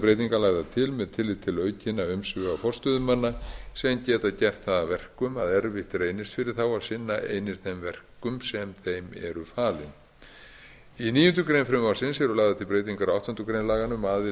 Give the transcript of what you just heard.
breytingar lagðar til með tilliti til aukinna umsvifa forstöðumanna sem geta gert það að verkum að erfitt reynist fyrir þá að sinna einir þeim verkum sem þeim eru falin í níundu grein frumvarpsins eru lagðar til breytingar á áttundu grein laganna um